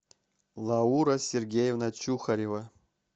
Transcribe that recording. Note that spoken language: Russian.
лаура сергеевна чухарева